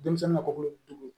Denmisɛnnin ka kolodugu